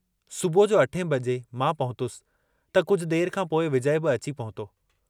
सुबुह जो अठें बजे मां पहुतुस त कुझु देर खां पोइ विजय बि अची पहुतो।